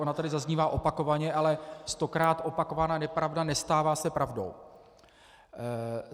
Ona tady zaznívá opakovaně, ale stokrát opakovaná nepravda nestává se pravdou.